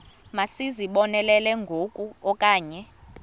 masizibonelele ngoku okanye